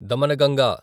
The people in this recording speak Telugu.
దమనగంగా